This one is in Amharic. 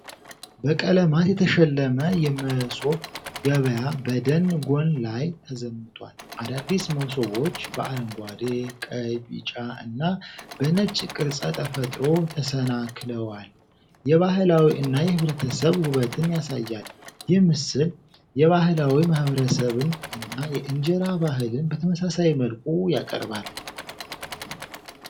በቀለማት የተሸለመ የመሶብ ገበያ በደን ጎን ላይ ተዘምቷል። አዳዲስ መሶቦች በአረንጓዴ፣ ቀይ፣ ቢጫ እና በነጭ ቅርጸ ተፈጥሮ ተሰናክለዋል። የባህላዊ እና የህብረተሰብ ውበትን ያሳያል። ይህ ምስል የባህላዊ ማህበረሰብን እና የእንጀራ ባህልን በተመሳሳይ መልኩ ያቀርባል።